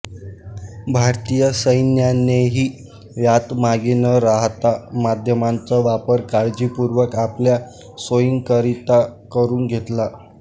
भारतीय सैन्यानेही यात मागे न रहाता माध्यमांचा वापर काळजीपूर्वक आपल्या सोयींकरता करून घेतला